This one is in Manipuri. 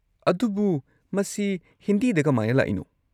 ꯑꯗꯨꯕꯨ ꯃꯁꯤ ꯍꯤꯟꯗꯤꯗ ꯀꯃꯥꯏꯅ ꯂꯥꯛꯏꯅꯣ?